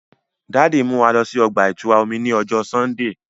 Daddy n mú wà lọ sí ọgba-itura omí ni ọjọ Sundee